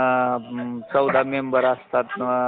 म्हणजे नोकरी करणे गरजेचंच असत का